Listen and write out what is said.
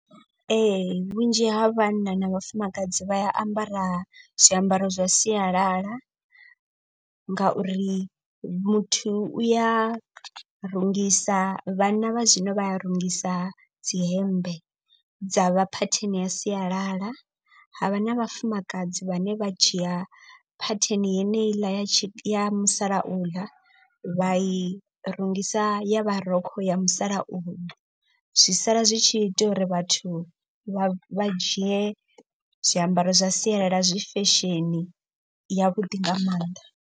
Ee vhunzhi ha vhanna na vhafumakadzi vha ambara zwiambaro zwa sialala. Ngauri muthu u ya rungisa vhanna vha zwino vha a rungisa dzihembe dza vha phetheni ya sialala. Havha na vhafumakadzi vhane vha dzhia phatheni yeneiḽa ya tshi ya musalauḽa vha i rungisa ya ya marukhu ya musalauno. Zwi sala zwi tshi ita uri vhathu vha vha dzhie zwiambaro zwa sialala zwi fesheni ya vhuḓi nga maanḓa.